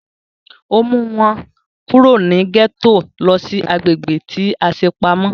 Ó mú wọn kúrò ní gẹ́tò lọ sí agbègbè tí a ṣe pamọ́